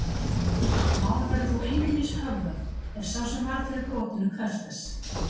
mál verður þó einungis höfðað ef sá sem varð fyrir brotinu krefst þess